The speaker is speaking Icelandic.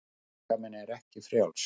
Líkaminn er ekki frjáls.